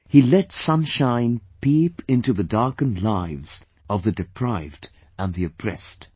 He let sunshine peep into the darkened lives of the deprived and the oppressed